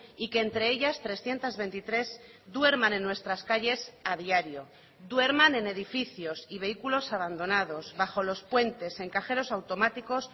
y que entre ellas trescientos veintitrés duerman en nuestras calles a diario duerman en edificios y vehículos abandonados bajo los puentes en cajeros automáticos